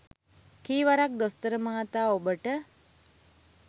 කී වරක් දොස්තර මහතා ඔබට